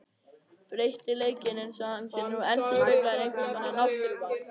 Breytileikinn eins og hann er nú endurspeglar einhvers konar náttúruval.